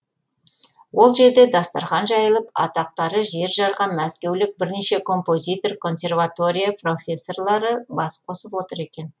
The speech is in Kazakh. ол жерде дастархан жайылып атақтары жер жарған мәскеулік бірнеше композитор консерватория профессорлары бас қосып отыр екен